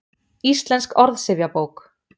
Íslensk orðsifjabók.